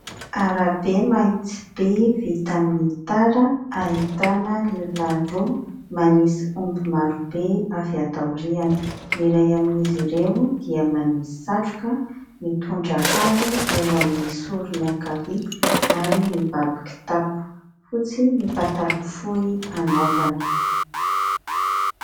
Arabe mahitsy be vita amin'ny tara ahitana lehilahy roa manisy omby marobe avy ato aoriana. Ny iray amin'izy ireo dia manisy satroka, mitondra hazo eo amin'ny sorony ankavia ary mibaby kitapo, fotsy ny pataloha fohy hanaovany.